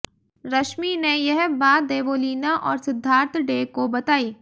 रश्मि ने यह बात देवोलीना और सिद्धार्थ डे को बताई